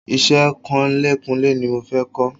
Iṣẹ́ kunlékunlé ni mo fẹ́ kọ́